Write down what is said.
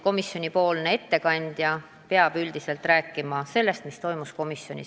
Komisjonipoolne ettekandja peab rääkima sellest, mis on toimunud komisjonis.